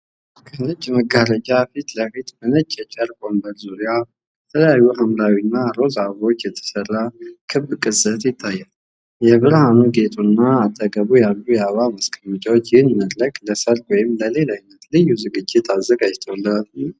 ከነጭ መጋረጃ ፊት ለፊት በነጭ የጨርቅ ወንበር ዙሪያ፣ ከተለያዩ ሐምራዊና ሮዝ አበቦች የተሠራ ክብ ቅስት ይታያል፣ የብርሃን ጌጡና በአጠገቡ ያሉ የአበባ ማስቀመጫዎች ይህንን መድረክ ለሠርግ ወይም ለሌላ ዓይነት ልዩ ዝግጅት አዘጋጅተውታልን?